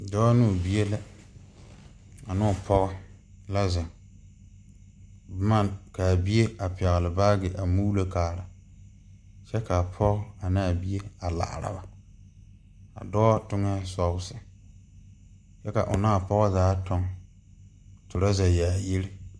Dɔɔ ne o bie la ane o pɔge la zeŋ boma ka a bie a pɛgle baage ka a bie muulo kaara kyɛ ka a pɔge ane a bie a laara ba a dɔɔ toŋee sɔɔse kyɛ ka o ne a pɔge zaa tuŋ torɔzɛ yaayiri.